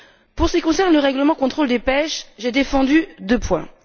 Pour ce qui concerne le règlement de contrôle de la pêche, j'ai défendu deux points.